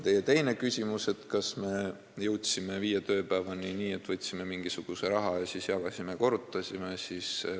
Teie teine küsimus oli, kas me jõudsime viie tööpäevani nii, et võtsime mingisuguse raha ja siis jagasime-korrutasime.